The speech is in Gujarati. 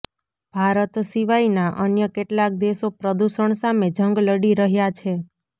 ભારત સિવાયના અન્ય કેટલાક દેશો પ્રદૂષણ સામે જંગ લડી રહ્યા છે